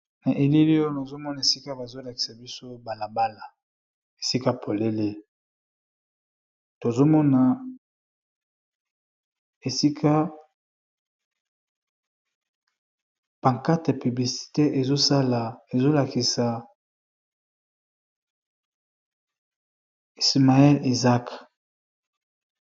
Na elili oyo bazolakisa biso balabala esika polele tozomona esika pancarte ezolakisa ismael na Isaac.